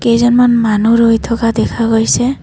কেইজনমান মানুহ ৰৈ থকা দেখা গৈছে।